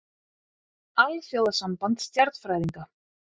Alþjóðasamband stjarnfræðinga.